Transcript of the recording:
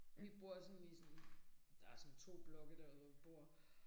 Vi bor sådan i sådan der sådan 2 blokke derude hvor vi bor